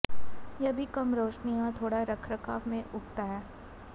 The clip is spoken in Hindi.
यह भी कम रोशनी और थोड़ा रखरखाव में उगता है